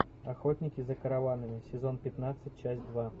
охотники за караванами сезон пятнадцать часть два